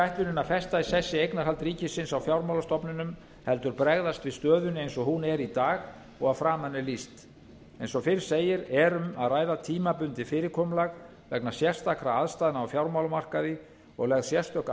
ætlunin að festa í sessi eignarhald ríkisins á fjármálastofnunum heldur bregðast við stöðunni eins og hún er í dag og að framan er lýst eins og fyrr segir er um að ræða tímabundið fyrirkomulag vegna sérstakra aðstæðna á fjármálamarkaði og lögð sérstök